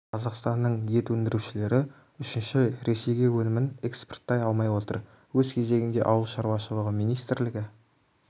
қазақстанның ет өндірушілері үшінші ай ресейге өнімін экспорттай алмай отыр өз кезегінде ауыл шаруашылығы министрлігі